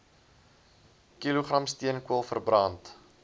kilogram steenkool verbrand